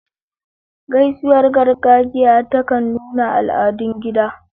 Gaisuwar gargajiya ta kan nuna al'adun gida.